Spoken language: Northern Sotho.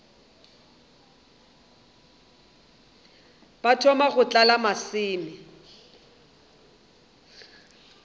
ba thoma go tlala maseme